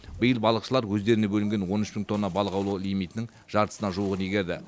биыл балықшылар өздеріне бөлінген он үш мың тонна балық аулау лимитінің жартысына жуығын игерді